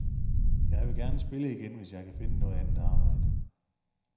Jeg vil gerne spille igen, hvis jeg kan finde noget andet arbejde.